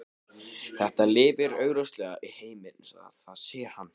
Það lifir augljóslega í heiminum eins og það sér hann.